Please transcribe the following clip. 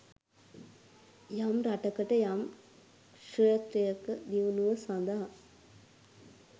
යම් රටකට යම් ක්‍ෂේත්‍රයක දියුණුව සඳහා